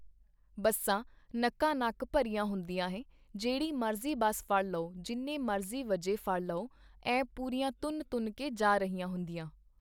ਬੱਸਾਂ ਨਕਾ ਨੱਕ ਭਰੀਆ ਹੁੰਦੀਆਂ ਹੈ ਜਿਹੜੀ ਮਰਜ਼ੀ ਬੱਸ ਫੜ ਲਉ ਜਿੰਨੇ ਮਰਜ਼ੀ ਵਜੇ ਫੜ ਲਉ ਐਂ ਪੂਰੀਆਂ ਤੁੰਨ ਤੁੰਨ ਕੇ ਜਾ ਰਹੀਆਂ ਹੁੰਦੀਆਂ।